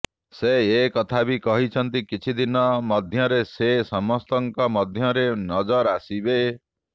ସେ ଏ କଥା ବି କହିଛନ୍ତି କିଛି ଦିନ ମଧ୍ୟରେ ସେ ସମସ୍ତଙ୍କ ମଧ୍ୟରେ ନଜର ଆସିବେ